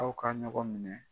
Aw ka ɲɔgɔn minɛ.